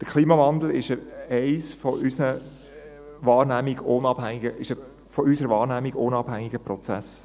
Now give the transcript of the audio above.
Der Klimawandel ist ein von unserer Wahrnehmung unabhängiger Prozess.